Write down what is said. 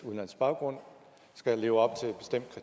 udenlandsk baggrund skal leve op